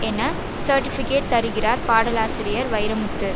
என சர்ட்டிபிகெட் தருகிறார் பாடலாசிரியர் வைரமுத்து